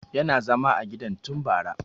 Yana zama a gidan tun bara